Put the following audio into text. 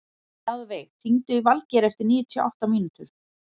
Mjaðveig, hringdu í Valgeir eftir níutíu og átta mínútur.